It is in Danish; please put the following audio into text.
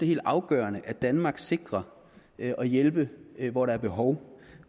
helt afgørende at danmark sikrer at hjælpe hvor der er behov